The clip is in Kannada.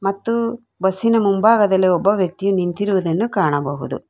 ಮತ್ತು ಬಸ್ಸಿನ ಮುಂಭಾಗದಲ್ಲಿ ಒಬ್ಬ ವ್ಯಕ್ತಿ ನಿಂತಿರುವದನ್ನು ಕಾಣಬಹುದು.